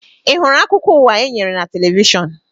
Ị hụrụ akụkọ ụwa e nyere na televishọn?